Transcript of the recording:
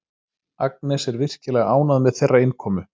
Agnes er virkilega ánægð með þeirra innkomu.